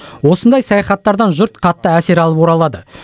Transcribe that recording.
осындай саяхаттардан жұрт қатты әсер алып оралады